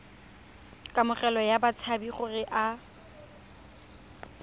kamogelo ya batshabi gore a